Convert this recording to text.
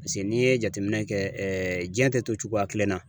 Paseke n'i ye jateminɛ kɛ jiɲɛ tɛ to cogoya kelen na.